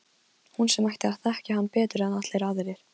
Hún sem ætti að þekkja hann betur en allir aðrir.